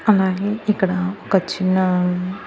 అలాగే ఇక్కడ ఒక చిన్న--